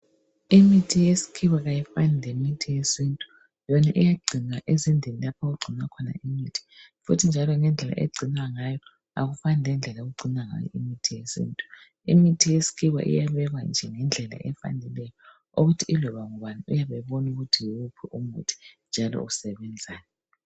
Imithi yesikhiwa ayifani lemithi yesintu, yona iyagcinwa ezindlini lapho okugcinwa imithi futhi njalo ngendlela egcinwa ngayo akufani lendlela okugcinwa ngayo imithi yesintu. Imithi yesikhiwa iyabekwa nje ngendlela efaneleyo ukuthi yiloba ngubani uyabebona ukuthi yiwuphi umuthi njalo usebenzani.